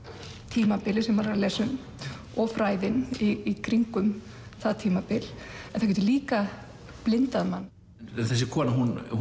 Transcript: tímabilið sem maður er að lesa um og fræðin í kringum það tímabil en það getur líka blindað mann þessi kona